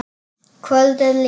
Kvöldið líður.